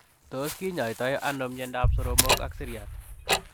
Tos kinyaitai anoo miandaap soromok ak siryat ?